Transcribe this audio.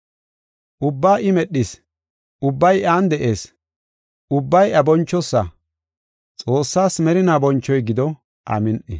Ubbaa I medhis; ubbay iyan de7ees; ubbay iya bonchosa. Xoossaas merinaw bonchoy gido. Amin7i.